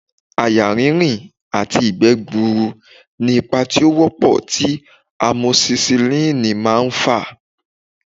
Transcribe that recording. Àyà rínrìn àti ìgbẹ́ gbuuru ni ipa tí ó wọ́pọ̀ tí amosisilínì máà ń fà